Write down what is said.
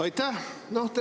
Aitäh!